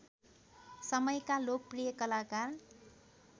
समयका लोकप्रिय कलाकार